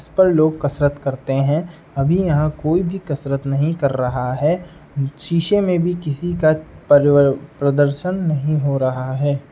स् पर लोग कसरत करते हैं। अभी यहाँ कोई भी कसरत नहीं कर रहा हैं। शीशे में भी किसी का पर्र् प्रदर्शन नहीं हो रहा है।